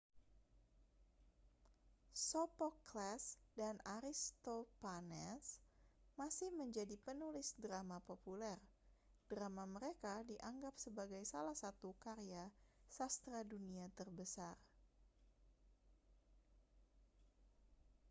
sophocles dan aristophanes masih menjadi penulis drama populer drama mereka dianggap sebagai salah satu karya sastra dunia terbesar